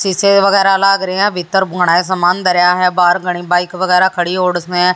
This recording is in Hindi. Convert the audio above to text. शीशे वगैरह लाग रही हैं भीतर बड़े सामान धरा है बाहर खड़ी बाइक वगैरह खड़ी हैं और उसमें--